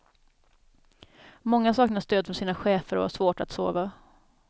Många saknar stöd från sina chefer och har svårt att sova.